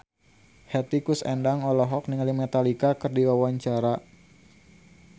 Hetty Koes Endang olohok ningali Metallica keur diwawancara